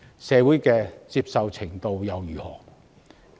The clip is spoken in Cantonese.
社會的接受程度如何？